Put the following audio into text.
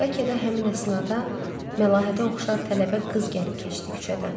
Bəlkə də həmin əsnada Məlahətə oxşar tələbə qız gəlib keçdi küçədən.